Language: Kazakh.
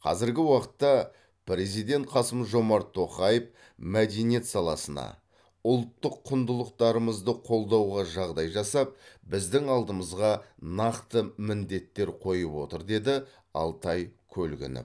қазіргі уақытта президент қасым жомарт тоқаев мәдениет саласына ұлттық құндылықтарымызды қолдауға жағдай жасап біздің алдымызға нақты міндеттер қойып отыр деді алтай көлгінов